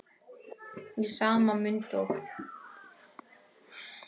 Í sama mund og